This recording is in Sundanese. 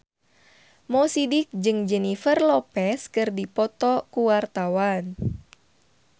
Mo Sidik jeung Jennifer Lopez keur dipoto ku wartawan